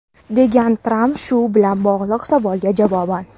degan Tramp shu bilan bog‘liq savolga javoban.